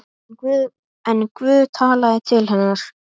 En Guð talaði til hennar.